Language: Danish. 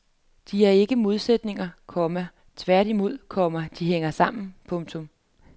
De er ikke modsætninger, komma tværtimod, komma de hænger sammen. punktum